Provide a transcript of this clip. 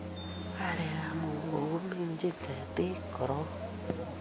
Arekab mukunkok keminjin betit koron